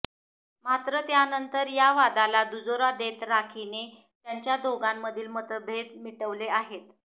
मात्र त्यानंतर या वादाला दुजोरा देत राखीने त्यांच्या दोघांमधील मतभेद मिटविले आहेत